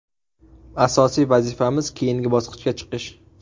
Asosiy vazifamiz keyingi bosqichga chiqish.